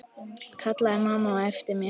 kallaði mamma á eftir mér.